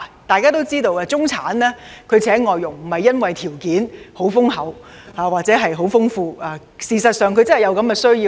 大家都知道，中產聘請外傭並不是由於家庭條件優厚，而是事實上真的有需要。